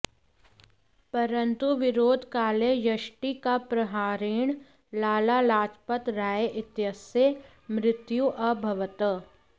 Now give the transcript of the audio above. परन्तु विरोधकाले यष्टिकाप्रहारेण लाला लाजपत राय इत्यस्य मृत्युः अभवत्